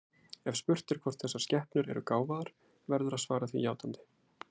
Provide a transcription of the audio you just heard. Ef spurt er hvort þessar skepnur eru gáfaðar, verður að svara því játandi.